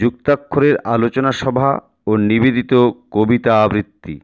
মুক্তাক্ষরের আলোচনা সভা ও নিবেদিত কবিতা আবৃতি